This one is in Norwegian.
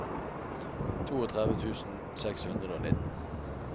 trettito tusen seks hundre og nitten